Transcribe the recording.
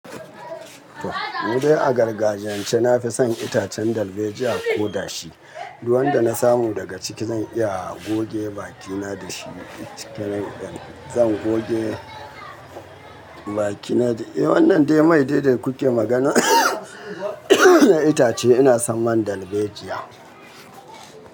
To, mudai a gargajiyance na fi son itacen dalbejiya ko dashi. Duk wanda na samu daga ciki zan iya goge bakina da shi. Cike nan zan goge bakina. Eh, wannan dai mai dai da kuke magana. Itace ina son man darbejiya.